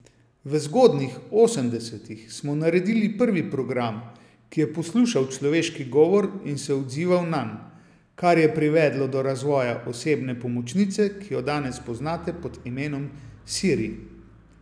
V zgodnjih osemdesetih smo naredili prvi program, ki je poslušal človeški govor in se odzival nanj, kar je privedlo do razvoja osebne pomočnice, ki jo danes poznate pod imenom Siri.